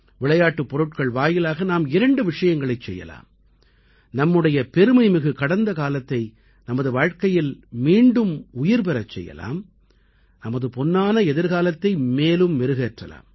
விளையாட்டுப் பொருட்கள் வாயிலாக நாம் இரண்டு விஷயங்களைச் செய்யலாம் நம்முடைய பெருமைமிகு கடந்த காலத்தை நமது வாழ்க்கையில் மீண்டும் உயிர்பெறச் செய்யலாம் நமது பொன்னான எதிர்காலத்தை மேலும் மெருகேற்றலாம்